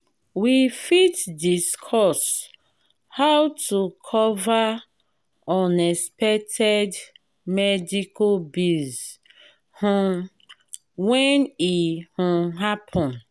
we fit discuss how to cover unexpected medical bills um when e um happen.